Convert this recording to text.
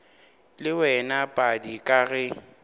le wena padi ka ge